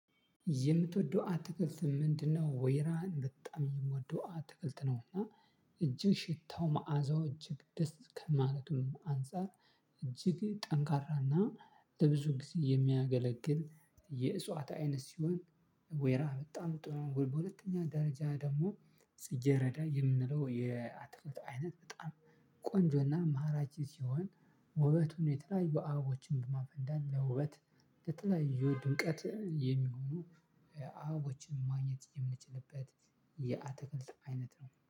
የምትወደው አትክልት ምንድነው? ወይራን በጣም የምወደው አትክልት ነውና። እጅግ ሽታው መዓዛው እጅግ ደስ ከማለቱም አንፃር። እጅግ ጠንካራና ለብዙ ጊዜ የሚያገለግል የእጽዋት አይነት ሲሆን። ወይራ በጣም ጥሩ በሁለተኛ ደረጃ ደግሞ። ጽጌረዳ የምንለው የአትክልት አይነት በጣም ቆንጆና ማራኪ ሲሆን። ውበቱን የተለያዩ አበባዎችን በማፈንዳት ለውበት። ለተለያዩ ድምቀት የሚሆኑ አበቦችን ማግኘት የምንችልበት። የአተክልት አይነት ነው